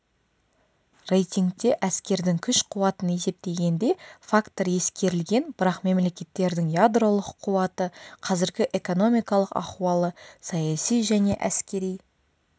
рейтингте әскердің күш-қуатын есептегенде фактор ескерілген бірақ мемлекеттердің ядролық қуаты қазіргі экономикалық ахуалы саяси және әскери